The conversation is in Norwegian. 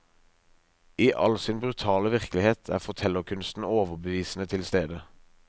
I all sin brutale virkelighet er fortellerkunsten overbevisende tilstede.